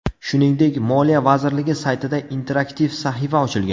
Shuningdek, Moliya vazirligi saytida interaktiv sahifa ochilgan.